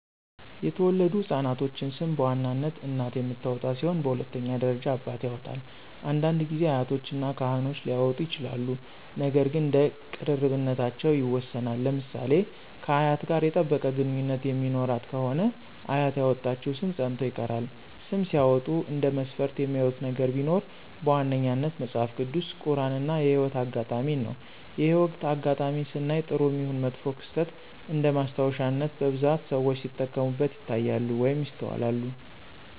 የተወለዱ ህፃናቶችን ሰም በዋናነት እናት የምታወጣ ሲሆን በሁለተኛ ደረጃ አባት ያወጣል፤ አንዳንድ ጊዜ አያቶች እና ካህኖች ሊያወጡ ይችላሉ ነገር ግን እንደ ቅርርብነታቸው ይወሰናል። ለምሳሌ ከአያት ጋር የጠበቀ ግንኙነት የሚኖራት ከሆነ አያት ያወጣችው ሰም ፀንቶ ይቀራል። ስም ሲያወጡ እንደ መስፈርት የሚያዩት ነገር ቢኖር በዋነኛነት መጸሐፍ ቅዱስ፣ ቁራን እና የህይወት አጋጣሜን ነው። የህይወት አጋጣሜን ስናይ ጥሩም ይሁን መጥፎ ክስተት እንደማስታወሻነት በብዛት ሰዎች ሲጠቀሙበት ይታያሉ ወይም ይስተዋላሉ።